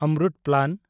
AMRUT plan